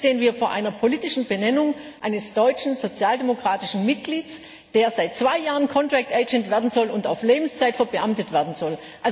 Jetzt stehen wir vor einer politischen Benennung eines deutschen sozialdemokratischen Mitglieds, der seit zwei Jahren Vertragsbediensteter werden soll und auf Lebenszeit verbeamtet werden soll.